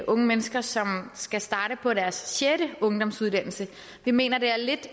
unge mennesker som skal starte på deres sjette ungdomsuddannelse vi mener det er lidt